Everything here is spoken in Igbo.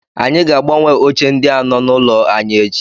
Anyị ga- agbanwe oche ndi a nọ n'ụlọ anyị echi.